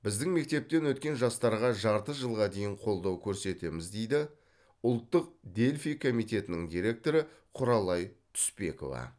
біздің мектептен өткен жастарға жарты жылға дейін қолдау көрсетеміз дейді ұлттық дельфий комитетінің директоры құралай түспекова